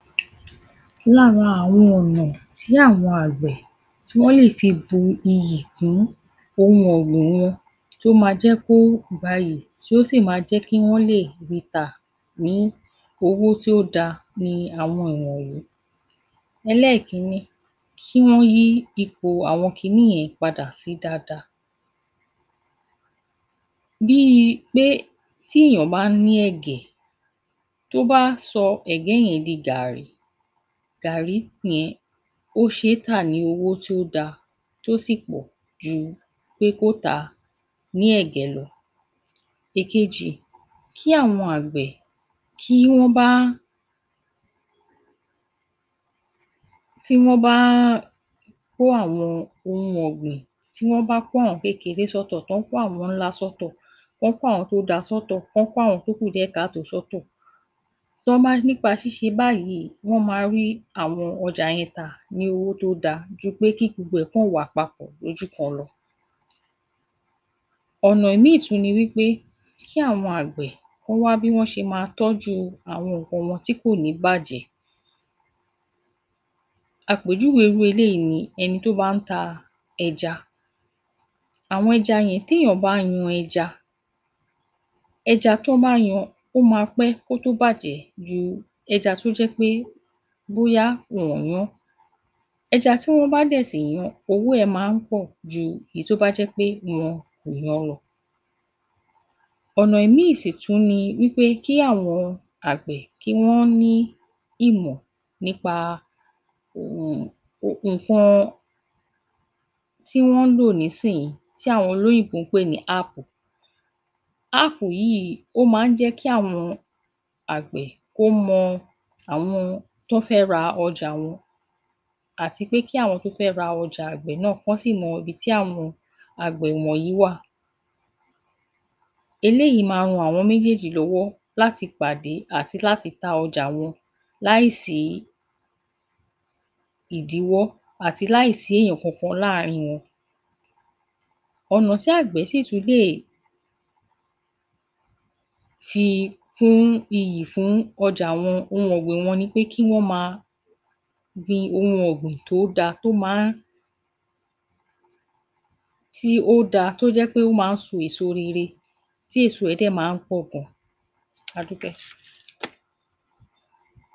Lára àwọn ọ̀nà tí àwọn àgbẹ̀ tí wọ́n lè fi bu iyì kún ohun ọ̀gbìn wọn tó máa jẹ́ kí ó gbayì tí ó sì máa jẹ́ kí wọ́n lè ri tà ní owó tó da ni àwọn ọ̀nà yìí. Ẹlẹ́ẹ̀kìíní kí wọ́n yí ipò àwọn kiní yẹn padà sí dáadáa: Bí i pé tí ènìyàn bá ní ẹ̀gẹ́, tí ó bá sọ ẹ̀gẹ́ yẹn di Gààrí, Gààrí yẹn ó ṣe é tà ní owó tí ó da tí ó sì pọ̀ ju pé kí ó tà á ní ẹ̀gẹ́ lọ. Èkejì: Kí àwọn àgbẹ̀ tí wọ́n bá kó àwọn ohun ọ̀gbìn tí wọ́n kó àwọn kékeré sí ọ̀tọ̀ kí wọ́n kó àwọn ńlá sí ọ̀tọ̀ wọ́n kó àwọn tí ó da sọ́tọ̀ tí wọ́n kó àwọn tí ó kù díẹ̀ káàtó sọ́tọ̀ nípa ṣíṣe báyìí wọ́n máa rí àwọn ọjà yẹn tà ní owó tó da ju pé kí gbogbo rẹ̀ kọ̀ wà papọ̀ ní ojú kan lọ. Ọ̀nà ìmíì tún ni wí pé kí àwọn àgbẹ̀ kí wọ́n wá bí wọ́n ṣe máa tọ́jú àwọn nǹkan wọn tí kò ní bàjẹ́. Àpèjúwe irú eléyìí ni ẹni tí wọ́n bá ń ta ẹja, àwọn ẹja yẹn, tí ènìyàn bá yan ẹja, ẹja tí wọ́n bá yan ó máa pẹ́ kó tó bàjẹ́ ju ẹja tí ó jẹ́ pé bóyá wọn ò yán ẹja tí wọ́n bá dẹ̀ sì yan, owó rẹ̀ máa ń pọ̀ ju èyí tí ó bá jẹ́ pé wọn kò yan wọn. Ọ̀nà ìmíì sì tún ni pé kí àwọn àgbẹ̀ kí wọ́n ní ìmọ̀ nípa nǹkan tí wọ́n ń lò ní ìsin yìí tí àwọn olóyìnbó ń pè ní Áàpù. App yìí, ó máa ń jẹ́ kí àwọn àgbẹ̀ ó mọ àwọn tí wọ́n fẹ́ ra ọjà wọn àti pé kí àwọn tí wọ́n fẹ́ ra ọjà àgbẹ̀ náà kí wọ́n sì mọ ibi tí àwọn àgbẹ̀ yìí wà. Eléyìí máa ran àwọn méjèèjì lọ́wọ́ láti pàdé àti láti ta ọjà wọn láì sí ìdíwọ́ àti láì sí ènìyàn kankan ní àárín wọn. Ọ̀nà tí àgbẹ̀ sì tún lè fi kún iyì fún ọjà ó hu un ọ̀gbìn wọn ni láti máa gbìn ohun tí ó da tí ó jẹ́ pé ó máa ń so èso rere tí èso rẹ̀ sì máa ń pọ̀ gan. A dúpẹ́.